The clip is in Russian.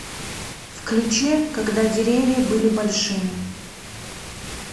включи когда деревья были большими